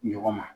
Ɲɔgɔn ma